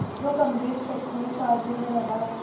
जो गंभीर शैक्षणिक कार्यों में लगा है